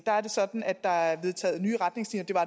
er det sådan at der er vedtaget nye retningslinjer